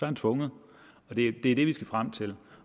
han tvunget og det er det vi skal frem til